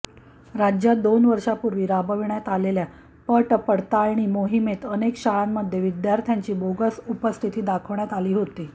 राज्यात दोन वर्षापूर्वी राबविण्यात आलेल्या पटपडताळणी मोहीमेत अनेक शाळांमध्ये विद्यार्थ्यांची बोगस उपस्थिती दाखविण्यात आली होती